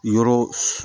Yɔrɔ